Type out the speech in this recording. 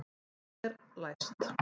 Það er læst!